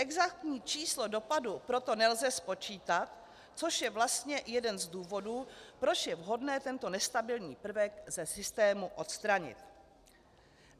Exaktní číslo dopadu proto nelze spočítat, což je vlastně jeden z důvodů, proč je vhodné tento nestabilní prvek ze systému odstranit."